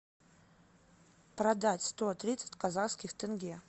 продать сто тридцать казахских тенге